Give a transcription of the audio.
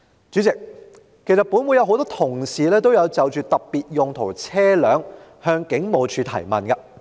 主席，其實本會很多同事也曾就特別用途車輛向警務處提問。